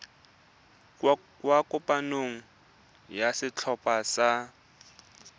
kwa kopanong ya setlhopha sa